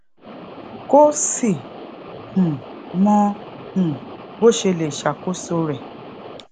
kó sì um mọ um bó ṣe lè ṣàkóso rè